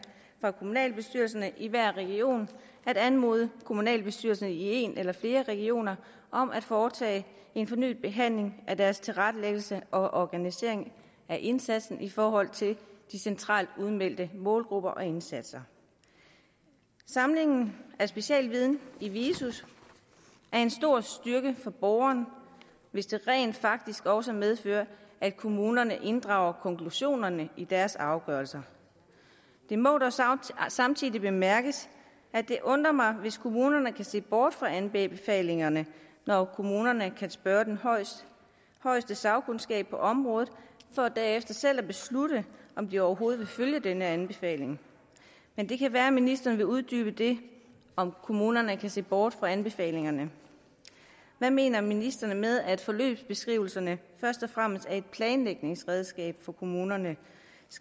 fra kommunalbestyrelserne i hver region at anmode kommunalbestyrelsen i en eller flere regioner om at foretage en fornyet behandling af deres tilrettelæggelse og organisering af indsatsen i forhold til de centralt udmeldte målgrupper og indsatser samlingen af specialviden i viso er en stor styrke for borgerne hvis det rent faktisk også medfører at kommunerne inddrager konklusionerne i deres afgørelser det må da samtidig bemærkes at det undrer mig hvis kommunerne kan se bort fra anbefalingerne når kommunerne kan spørge den højeste sagkundskab på området for derefter selv at beslutte om de overhovedet vil følge denne anbefaling men det kan være at ministeren vil uddybe det om at kommunerne kan se bort fra anbefalingerne hvad mener ministeren med at forløbsbeskrivelserne først og fremmest er et planlægningsredskab for kommunernes